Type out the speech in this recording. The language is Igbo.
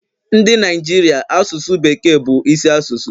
Ndị Naijiria asụsụ bekee bu isi asụsụ